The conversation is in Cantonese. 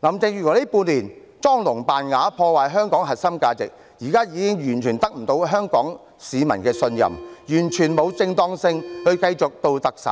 林鄭月娥近半年來裝聾作啞，破壞香港核心價值，現在已完全得不到香港市民的信任，完全沒有正當性繼續擔任特首。